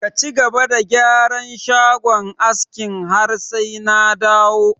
Ka cigaba da gyaran shagon askin har sai na dawo!